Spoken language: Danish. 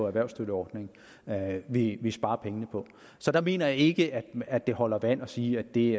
erhvervsstøtteordningen vi vi sparer pengene på så der mener jeg ikke at det holder vand at sige at det